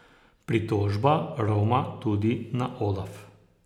Pritožba roma tudi na Olaf.